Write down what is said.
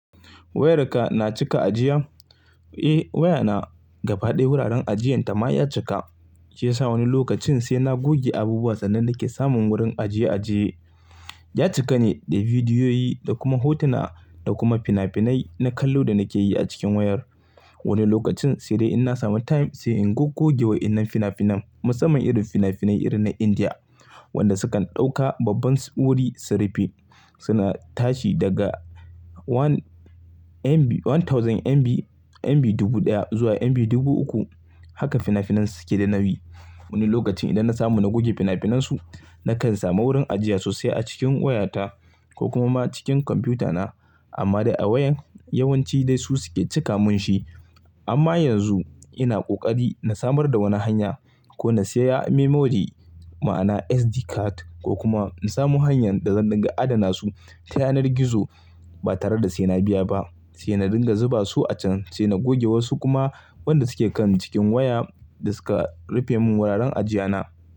Wayarka na cika ajiya? Eh waya na, gaba ɗaya wuraren ajiyanta ma ya cika. Shi ya sa wani lokacin sai na goge abubuwa sannan nake samun wurin ajiye ajiye. Ya cika ne da bidiyoyi da kuma hotuna da kuma fina-finai na kallo da nake yi a cikin wayar. Wani lokacin sai dai in na samu time sai in goge waɗannan fina-finan musamman irin fina-finai irin na Indiya, waɗanda sukan ɗauka babban tsuri su rufe. Suna tashi daga one MB, one thousand MB, MB dubu ɗaya zuwa MB dubu uku. Haka fina-finan su ke da nawi. Wani lokacin idan na samu na goge fina-finan su, na kan samu wurin ajiya sosai a cikin wayata ko kuma ma cikin kwamfuta na. Amma dai a wayan yawanci dai su suke cika mun shi. Amma yanzu ina ƙoƙari na samar da wani hanya ko na saya memory ma'ana SD card ko kuma in samu hanyar da zan dinga adana su ta yanar gizo ba tare da sai na biya ba. Sai na dinga zuba su a can sai na goge wasu kuma waɗanda suke kan cikin waya da suka rufe mun wuraren ajiya na.